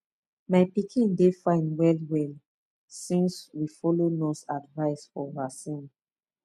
my pikin dey fine wellwell since we follow nurse advice for vaccine